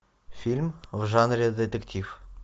фильм в жанре детектив